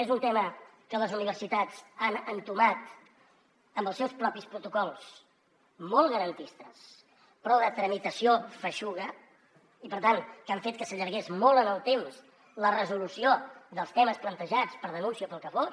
és un tema que les universitats han entomat amb els seus propis protocols molt garantistes però de tramitació feixuga i per tant que han fet que s’allargués molt en el temps la resolució dels temes plantejats per denúncia o pel que fos